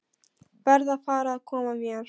Verð að fara að koma mér.